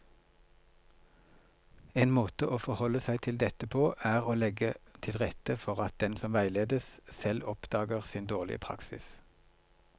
En måte å forholde seg til dette på er å legge til rette for at den som veiledes, selv oppdager sin dårlige praksis.